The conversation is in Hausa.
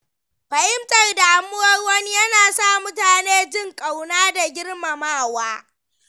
Fahimtar damuwar wani ya na sa mutane jin ƙauna da girmamawa.